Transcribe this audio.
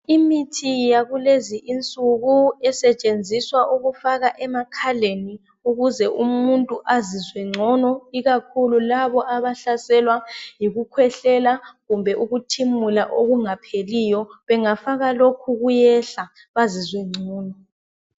Imithi yakulezi insuku esetshenziswa ukufaka emakhaleni ukuze umuntu azizwe ngcono ikakhulu labo abahlaselwa yikukhwehlela kumbe ukuthimula okungapheliyo. Bangayifaka limithi kuyehla bazizwe ngcono.